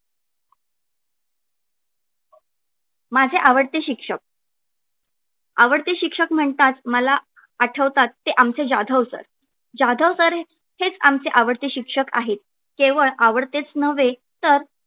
माझे आवडते शिक्षक आवडते शिक्षक म्हणतात मला आठवतात ते आमचे जाधव sir जाधव sir हेच आमचे आवडते शिक्षक आहेत. केवळ तेच नव्हे तर